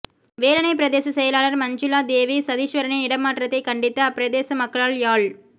வேலணை பிரதேச செயலர் மஞ்சுளா தேவி சதீஸ்வரனின் இடமாற்றத்தைக் கண்டித்து அப்பிரதேச மக்களால் யாழ்